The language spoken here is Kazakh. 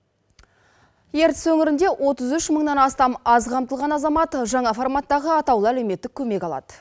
ертіс өңірінде отыз үш мыңнан астам аз қамтылған азамат жаңа форматтағы атаулы әлеуметтік көмек алады